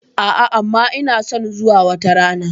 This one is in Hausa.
A'a amma ina son zuwa wata rana.